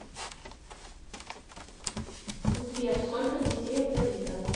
сбер сколько детей у давида